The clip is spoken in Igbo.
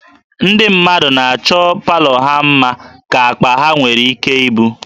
Ndị mmadụ na-achọ palọ ha mma ka akpa ha nwere ike ibu